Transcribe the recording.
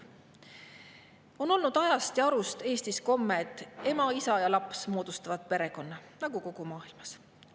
Eestis on olnud ajast komme, et ema, isa ja laps moodustavad perekonna, nagu kogu maailmas.